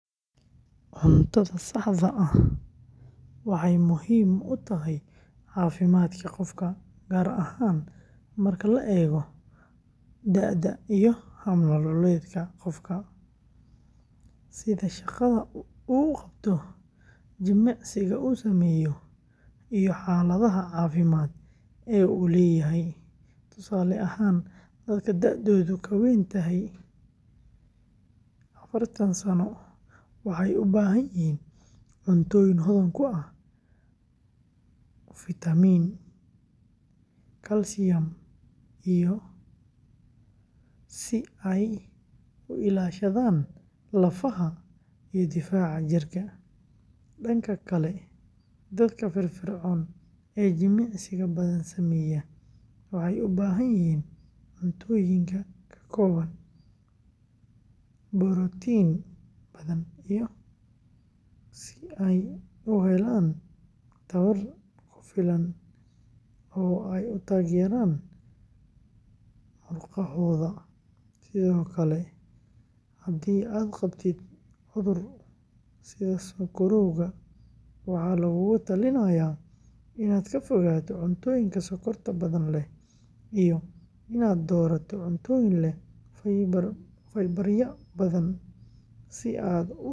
Cuntada saxda ah waxay muhiim u tahay caafimaadka qofka, gaar ahaan marka la eego da'da iyo hab-nololeedka qofka, sida shaqada uu qabto, jimicsiga uu sameeyo, iyo xaaladaha caafimaad ee uu leeyahay. Tusaale ahaan, dadka da'doodu ka weyn tahay afartaan sano waxay u baahan yihiin cuntooyin hodan ku ah fitamiin , kalsiyum, si ay u ilaashadaan lafaha iyo difaaca jirka. Dhanka kale, dadka firfircoon ee jimicsiga badan sameeya waxay u baahan yihiin cuntooyinka ka kooban borotiin badan si ay u helaan tamar ku filan oo ay u taageeraan murqahooda. Sidoo kale, haddii aad qabtid cudur sida sonkorowga, waxaa lagugula talinayaa inaad ka fogaato cuntooyinka sonkorta badan leh iyo inaad doorato cuntooyin.